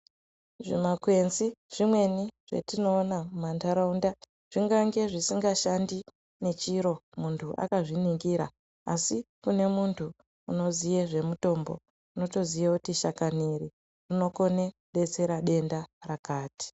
Zvimakwenzi zvimweni zvatinoona mumantaraunda zvingange zvisingashandi ngechiro muntu akazviningira asi kune muntu unoziye zvemutombo unotoziya kuti shakani iri rinokone kudetsera denda rakati.